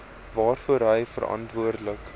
waarvoor hy verantwoordelik